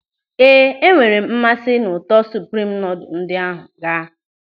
Éè, enwere m mmasị n'ụtọ supreme noodle ndị ahụ ga.